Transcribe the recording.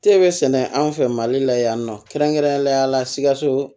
Te be sɛnɛ an fɛ mali la yan nɔ kɛrɛnkɛrɛnnenya la sikaso